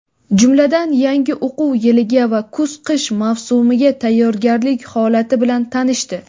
jumladan yangi o‘quv yiliga va kuz-qish mavsumiga tayyorgarlik holati bilan tanishdi.